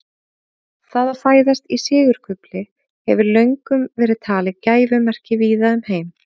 Það að fæðast í sigurkufli hefur löngum verið talið gæfumerki víða um heim.